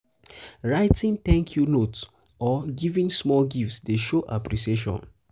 writing 'thank you' note or giving small gift dey dey show appreciation.